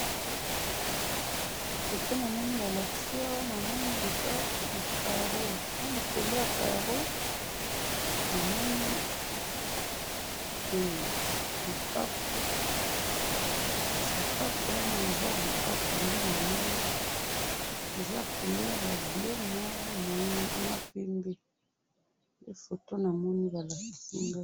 Foto namoni balakisi awa, namoni eza na karo, nalikolo ya karo namoni eh! Lipapa, sapato wana eza lipapa nde namoni, eza couleur ya bleu noir, na pembe, nde foto namoni balakisi nga.